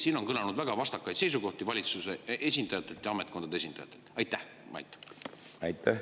Siin on kõlanud väga vastakaid seisukohti valitsuse esindajate ja ametkondade esindajate suust.